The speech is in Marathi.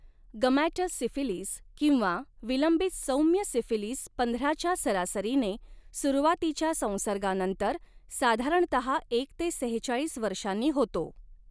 गमॅटस सिफिलीस किंवा विलंबित सौम्य सिफिलीस पंधराच्या सरासरीने, सुरुवातीच्या संसर्गानंतर साधारणतहा एक ते सेहेचाळीस वर्षांनी होतो.